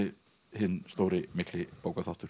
hinn stóri mikli